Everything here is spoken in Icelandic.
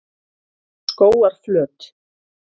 Skógarflöt